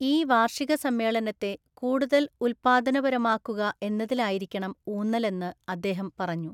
ഈ വാര്‍ഷിക സമ്മേളനത്തെ കൂടുതല്‍ ഉൽപാദനപരമാക്കുക എന്നതിലായിരിക്കണം ഊന്നലെന്ന് അദ്ദേഹം പറഞ്ഞു.